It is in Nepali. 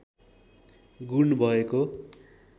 गुण भएको